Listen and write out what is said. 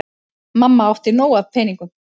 Mamma átti nóg af peningum.